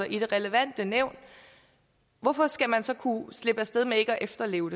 i det relevante nævn hvorfor skal man så kunne slippe af sted med ikke at efterleve